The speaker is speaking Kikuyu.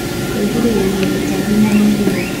Kwĩgirĩrĩria tũtambi na mĩrimũ